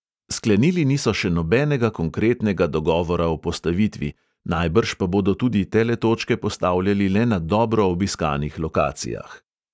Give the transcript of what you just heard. Sklenili niso še nobenega konkretnega dogovora o postavitvi, najbrž pa bodo tudi teletočke postavljali le na dobro obiskanih lokacijah.